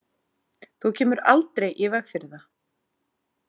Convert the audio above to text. Þú kemur aldrei í veg fyrir það.